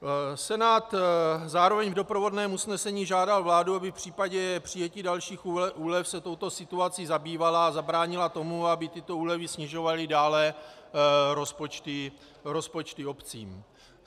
Senát zároveň v doprovodném usnesení žádal vládu, aby v případě přijetí dalších úlev se touto situací zabývala a zabránila tomu, aby tyto úlevy snižovaly dále rozpočty obcím.